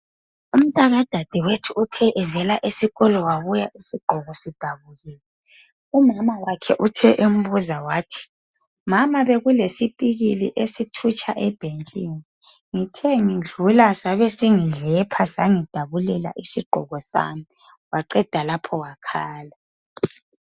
Umntaka dadewethu uthe evela esikolo uthe evela esikolo wabuya isigqoko sidabukile uthe embuza wathi mama bekulesipikili ebesithutsha ebhentshini ngithe ngidlula sangidabulela waqeda lapho wakhala.